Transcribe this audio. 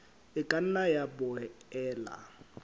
e ka nna ya boela